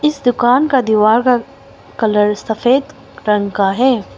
इस दुकान का दीवार का कलर सफेद रंग का है।